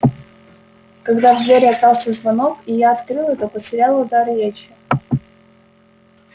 когда в дверь раздался звонок и я открыла то потеряла дар речи